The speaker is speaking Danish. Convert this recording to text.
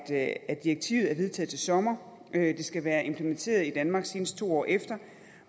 at at direktivet er vedtaget til sommer det skal være implementeret i danmark senest to år efter